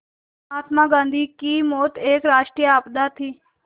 महात्मा गांधी की मौत एक राष्ट्रीय आपदा थी